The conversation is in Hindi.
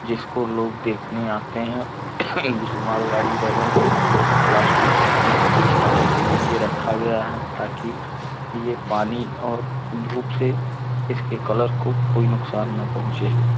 जिसको लोग देखने आते हैं। इस मालगाड़ी वैगन को प्लास्टिक की सीट के के नीचे रखा गया है ताकि ये पानी और धूप से इसके कलर को कोई नुकसान न पहुँचे।